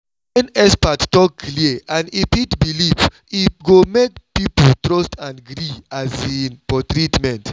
when experts talk clear and e fit belief e go make people trust and gree um for treatment.